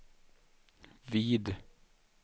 vid